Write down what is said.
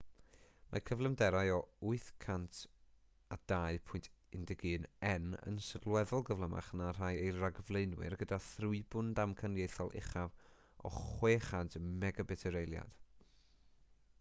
mae cyflymderau o 802.11n yn sylweddol gyflymach na rhai ei rhagflaenwyr gyda thrwybwn damcaniaethol uchaf o 600mbit yr eiliad